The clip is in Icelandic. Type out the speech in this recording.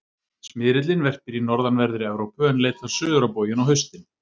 Smyrillinn verpir í norðanverðri Evrópu en leitar suður á bóginn á haustin.